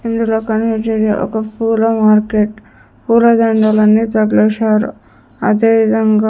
ఇందులో కొన్ని వచ్చేసి ఒక పూల మార్కెట్ పూలదండలన్నీ తగలేశారు అదేవిధంగా--